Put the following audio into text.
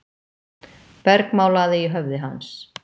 bergmálaði í höfði hans.